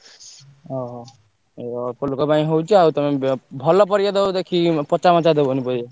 ଓହୋ! ଅଳ୍ପ ଲୋକ ପାଇଁ ହଉଛି ଆଉ ତମେ ~ବେ ଭଲ ପରିବା ଦବ ଦେଖିକି ପଚା ମଚା ଦବନି ପରିବା।